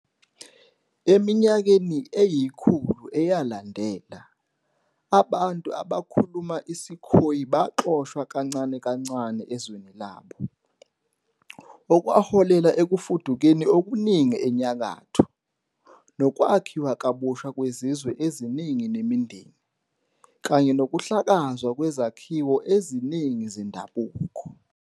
Eminyakeni eyikhulu eyalandela, abantu abakhuluma isiKhoe baxoshwa kancane kancane ezweni labo, okwaholela ekufudukeni okuningi enyakatho, nokwakhiwa kabusha kwezizwe eziningi nemindeni, kanye nokuhlakazwa kwezakhiwo eziningi zendabuko.